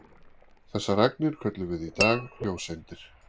Þessar agnir köllum við í dag ljóseindir.